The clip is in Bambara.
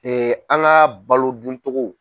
an ka balo duncogo.